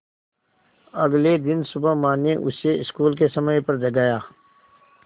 अगले दिन सुबह माँ ने उसे स्कूल के समय पर जगाया